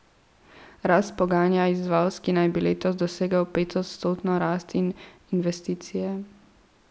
Rast poganja izvoz, ki naj bi letos dosegel petodstotno rast, in investicije.